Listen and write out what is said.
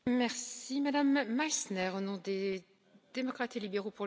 Frau Präsidentin, Frau Kommissarin, liebe Kolleginnen und Kollegen!